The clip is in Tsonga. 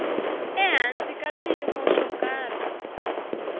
ehansi ka swiyimo swo karhi